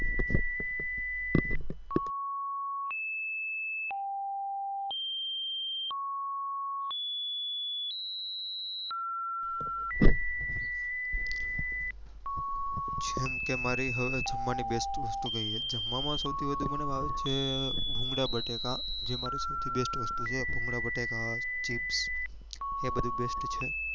જેમ કે મારી હવે જમવા ની best વસ્તુ કહીએ જમવા માં સૌથી વધુ મને ભાવે છે ભૂંગળા બટેકા જે મારી સૌથી best વસ્તુ છે ભૂંગળા બટેકા chips એ બધું best છે